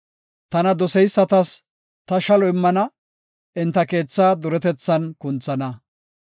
Tana doseysatas ta shalo immana; enta keethaa duretethan kunthana.